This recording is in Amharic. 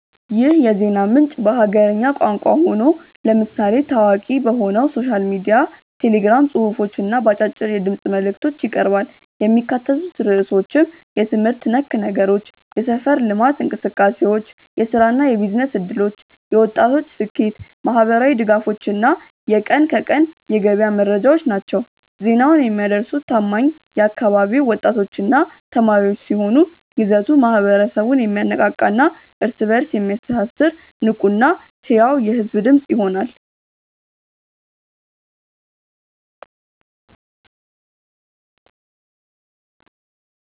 ይህ የዜና ምንጭ በሀገርኛ ቋንቋ ሆኖ፣ ለምሳሌ ታዋቂ በሆነው ሶሻል ሚዲያ ቴሌግራም ጽሑፎች እና በአጫጭር የድምፅ መልዕክቶች ይቀርባል። የሚካተቱት ርዕሶችም የትምህርት ነክ ነገሮች፣ የሰፈር ልማት እንቅሰቃሴዎች፣ የሥራና የቢዝነስ ዕድሎች፣ የወጣቶች ስኬት፣ ማኅበራዊ ድጋፎች እና የቀን ከቀን የገበያ መረጃዎች ናቸው። ዜናውን የሚያደርሱት ታማኝ የአካባቢው ወጣቶችና ተማሪዎች ሲሆኑ፣ ይዘቱ ማኅበረሰቡን የሚያነቃቃና እርስ በእርስ የሚያስተሳስር ንቁና ሕያው የሕዝብ ድምፅ ይሆናል።